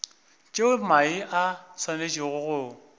tšeo mae a swanetšego go